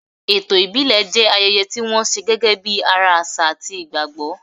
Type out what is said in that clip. Ètò ìbílẹ̀ jẹ́ ayẹyẹ tí wọ́n ṣe gẹ́gẹ́ bí ara àṣà àti ìgbàgbọ́.